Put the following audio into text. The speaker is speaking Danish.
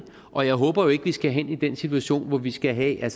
og jeg håber jo ikke at vi skal hen i den situation hvor vi skal have